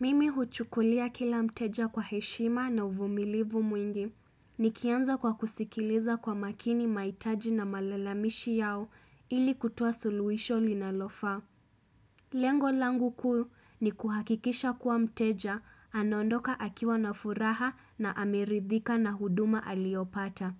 Mimi huchukulia kila mteja kwa heshima na uvumilivu mwingi. Nikianza kwa kusikiliza kwa makini maitaji na malalamishi yao ili kutoa suluwisho linalofaa. Lengo langu kuu ni kuhakikisha kuwa mteja anaondoka akiwa na furaha na ameridhika na huduma aliopata.